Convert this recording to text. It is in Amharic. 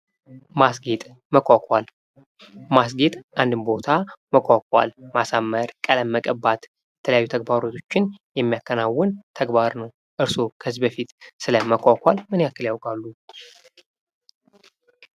ማስጌጥ ፡ መኳኳል ማስጌጥ አንድን ቦታ መኳኳል ማሳመር ቀለም መቀባት የተለያዩ ተግባራቶችን የሚያከናውን ተግባር ነው ። እርሶ ከዚህ በፊት ስለ መኳኳል ምን ያክል ያውቃሉ?